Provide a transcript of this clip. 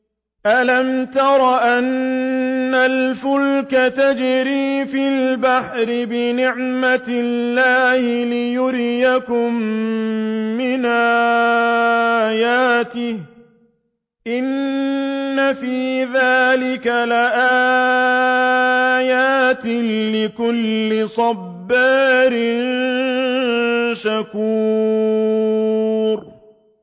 أَلَمْ تَرَ أَنَّ الْفُلْكَ تَجْرِي فِي الْبَحْرِ بِنِعْمَتِ اللَّهِ لِيُرِيَكُم مِّنْ آيَاتِهِ ۚ إِنَّ فِي ذَٰلِكَ لَآيَاتٍ لِّكُلِّ صَبَّارٍ شَكُورٍ